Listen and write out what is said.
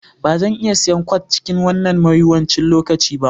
Ba zan iya siyan kwat a cikin wannan mawuyacin lokaci ba